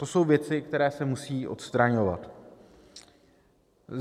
To jsou věci, které se musí odstraňovat.